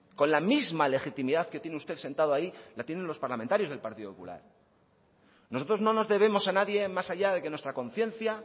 con la misma legitimidad que tiene usted sentado ahí la tienen los parlamentarios del partido popular nosotros no nos debemos a nadie más allá de que nuestra conciencia